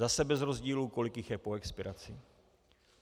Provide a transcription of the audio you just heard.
Zase bez rozdílu, kolik jich je po expiraci.